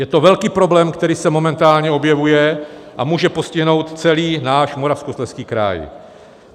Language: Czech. Je to velký problém, který se momentálně objevuje a může postihnout celý náš Moravskoslezský kraj.